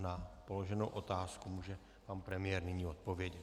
Na položenou otázku může pan premiér nyní odpovědět.